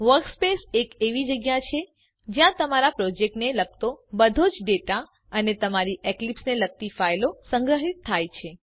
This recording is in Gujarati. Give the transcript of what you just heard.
વર્કસ્પેસ એક એવી જગ્યા છે જ્યાં તમારા પ્રોજેક્ટને લગતો બધો જ ડેટા અને તમારી એકલીપ્સ ને લગતી ફાઈલો સંગ્રહીત થાય છે